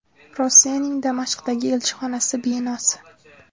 Rossiyaning Damashqdagi elchixonasi binosi.